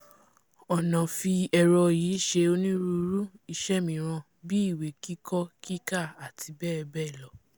ọ̀nà fi ẹ̀rọ yìí ṣe onírúirú iṣẹ́ míràn bíi ìwé kíkọ kíkà àti bẹ́ẹ̀bẹ́ẹ̀lọ